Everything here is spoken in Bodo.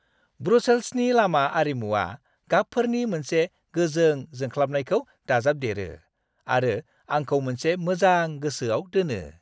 ब्रुसेल्सनि लामा आरिमुवा गाबफोरनि मोनसे गोजों जोंख्लाबनायखौ दाजाबदेरो आरो आंखौ मोनसे मोजां गोसोआव दोनो।